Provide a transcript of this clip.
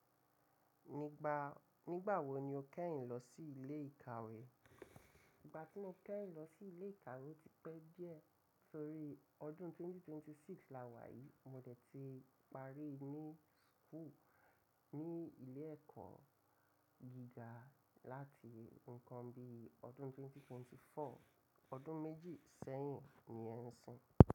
Nígbà, nígbà wo ni o kẹ́hìn lọ sí ilé ìkàwé? Ìgbà tí mo kẹ́hìn lọ sí ilé ìkàwé ti pẹ́ díẹ̀ torí ọdún 2026 la wà yìí. Mo dẹ̀ ti parí ní school, ní ilé ẹ̀kọ́ gíga láti nǹkan bí ọdún 2024. Ọdún méjì sẹ́yìn ni ẹ́ ń sìn.